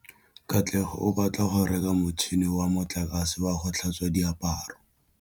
Katlego o batla go reka motšhine wa motlakase wa go tlhatswa diaparo.